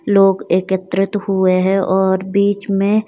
लोग एकत्रित हुए हैं और बीच में--